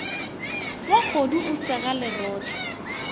wa kgodu o sega lerotse